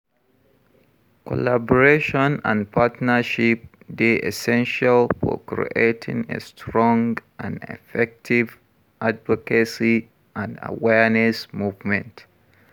Collaboration and partnership dey essential for creating a strong and effective advocacy and awareness movement.